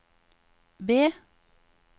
B